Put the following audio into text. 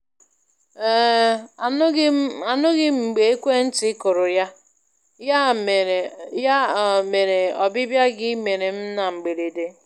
um Anụghị m Anụghị m mgbe ekwe ntị kụrụ, ya um mere ọbịbịa gị mere m na mgberede.